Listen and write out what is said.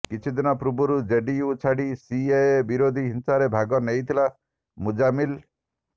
କିଛି ଦିନ ପୂର୍ବରୁ ଜେଡିୟୁ ଛାଡ଼ି ସିଏଏ ବିରୋଧୀ ହିଂସାରେ ଭାଗ ନେଇଥିଲା ମୁଜାମ୍ମିଲ